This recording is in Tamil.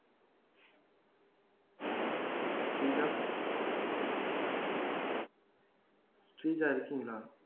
ஸ்ரீஜா ஸ்ரீஜா இருக்கீங்களா